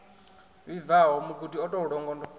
vhibvaho mugudi o tou longondo